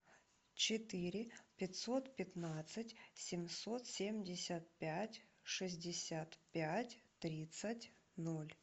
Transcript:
четыре пятьсот пятнадцать семьсот семьдесят пять шестьдесят пять тридцать ноль